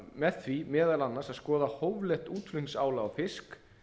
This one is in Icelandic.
með því meðal annars að skoða hóflegt útflutningsálag á fisk